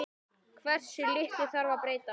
Hversu litlu þarf að breyta?